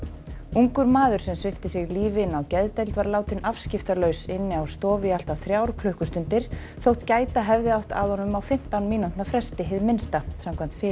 ungur maður sem svipti sig lífi inni á geðdeild var látinn afskiptalaus inni á stofu í allt að þrjár klukkustundir þótt gæta hefði átt að honum á fimmtán mínútna fresti hið minnsta samkvæmt